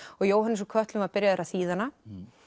Jóhannes úr kötlum var byrjaður að þýða hana